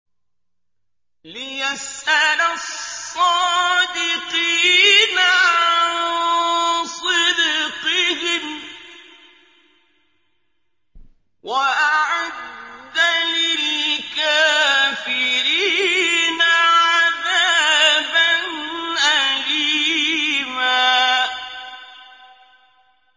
لِّيَسْأَلَ الصَّادِقِينَ عَن صِدْقِهِمْ ۚ وَأَعَدَّ لِلْكَافِرِينَ عَذَابًا أَلِيمًا